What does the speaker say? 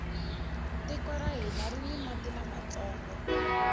tiko ra hina rini mati lamantsongo